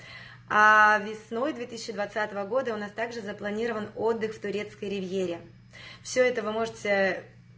весной две тысячи двадцатого года у нас также запланирован отдых в турецкой ривьере все это вы можете